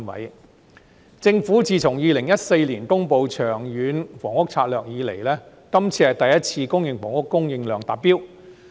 自從政府2014年公布《長遠房屋策略》以來，今次是公營房屋供應量首次達標。